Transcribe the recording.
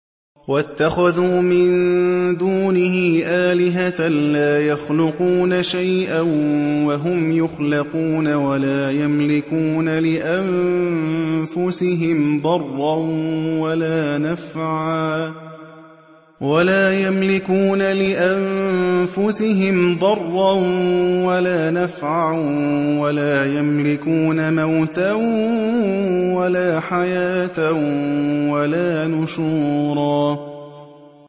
وَاتَّخَذُوا مِن دُونِهِ آلِهَةً لَّا يَخْلُقُونَ شَيْئًا وَهُمْ يُخْلَقُونَ وَلَا يَمْلِكُونَ لِأَنفُسِهِمْ ضَرًّا وَلَا نَفْعًا وَلَا يَمْلِكُونَ مَوْتًا وَلَا حَيَاةً وَلَا نُشُورًا